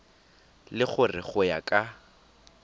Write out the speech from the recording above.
le gore go ya ka